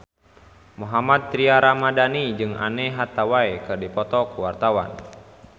Mohammad Tria Ramadhani jeung Anne Hathaway keur dipoto ku wartawan